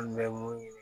An bɛ mun ɲini